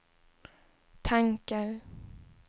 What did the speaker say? tankar